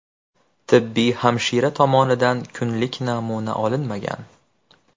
Tibbiy hamshira tomonidan kunlik namuna olinmagan.